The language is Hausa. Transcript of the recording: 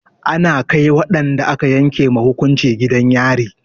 Ana kai waɗanda aka yanke ma hukunci gidan yari.